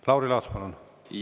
Lauri Laats, palun!